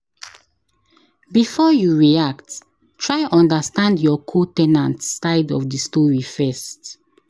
Before you react, try understand your co- ten ant side of the story first.